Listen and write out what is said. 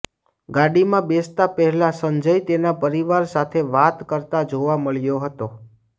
ગાડીમાં બેસતા પહેલાં સંજય તેના પરિવાર સાથે વાત કરતાં જોવા મળ્યો હતો